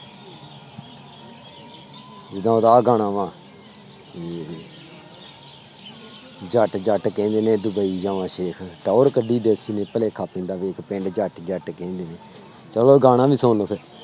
ਜਿੱਦਾਂ ਉਹਦਾ ਆਹ ਗਾਣਾ ਵਾਂ ਜੱਟ ਜੱਟ ਕਹਿੰਦੇ ਨੇ ਡੁਬਈ ਜਾਵਾਂ ਸੇਖ, ਟੋਰ ਕੱਢੀ ਦੇਖ ਕਿਵੇਂ ਭੁੁਲੇਖਾ ਪੈਂਦਾ ਵੇਖ ਪਿੰਡ ਜੱਟ ਜੱਟ ਕਹਿੰਦੇ ਨੇ, ਚਲੋ ਗਾਣਾ ਵੀ ਸੁਣ ਲਓ ਫਿਰ